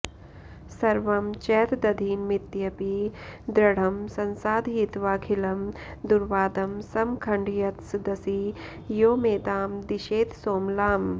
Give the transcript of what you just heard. सर्वं चैतदधीनमित्यपि दृढं संसाधयित्वाखिळं दुर्वादं समखण्डयत्सदसि यो मेदां दिशेत्सोमलाम्